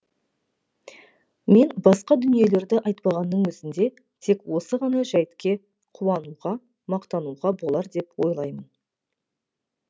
мен басқа дүниелерді айтпағанның өзінде тек осы ғана жәйтке қуануға мақтануға болар деп ойлаймын